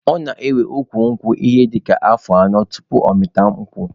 Ọ na-ewe ukwu nkwụ ihe dịka afọ anọ tupu ọ mịta akwụ.